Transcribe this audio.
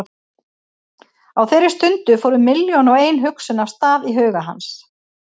Á þeirri stundu fóru milljón og ein hugsun af stað í huga hans.